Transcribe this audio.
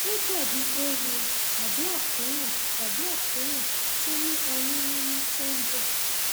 ó dàbí eéwo tàbí àkóràn tàbí àkóràn tó ní ọyún nínú tó ń bọ